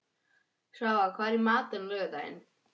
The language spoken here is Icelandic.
Svava, hvað er í matinn á laugardaginn?